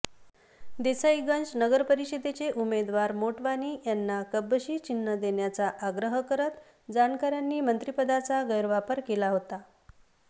देसाईगंज नगरपरिषदेचे उमेदवार मोटवानी यांना कपबशी चिन्ह देण्याचा आग्रह करत जानकरांनी मंत्रीपदाचा गैरवापर केला होता